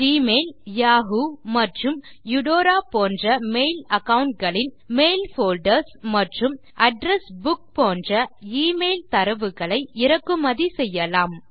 Gmail Yahoo மற்றும் Eudora போன்ற mail account களின் மெயில் போல்டர்ஸ் மற்றும் அட்ரெஸ் புக் போன்ற எமெயில் தரவுகளை இறக்குமதி செய்யலாம்